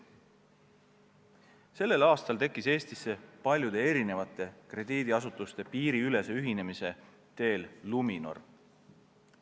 Sellel aastal tekkis Eestis paljude erinevate krediidiasutuste piiriülese ühinemise teel Luminor.